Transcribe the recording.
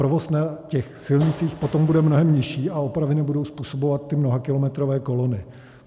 Provoz na těch silnicích potom bude mnohem nižší a opravy nebudou způsobovat ty mnohakilometrové kolony.